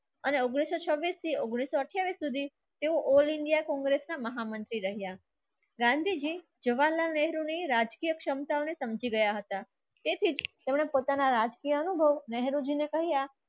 અને ઉંગ્નીસ સો છબ્બીસ થી ઉંગ્નીસ સો અઠાઇસ સુધી તેઓ all india કોંગ્રેસના મહામંત્રી રહ્યા. ગાંધીજી જવાહરલાલ નહેરુની રાજકીય ક્ષમતાઓને સમજી ગયા હતા તેથી તેમના પોતાના રાજકીય અનુભવ